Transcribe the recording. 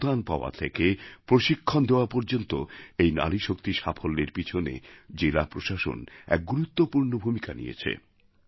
অনুদান পাওয়া থেকে প্রশিক্ষণ দেওয়া পর্যন্ত এই নারীশক্তির সাফল্যের পিছনে জেলা প্রশাসন এক গুরুত্বপূর্ণ ভূমিকা নিয়েছে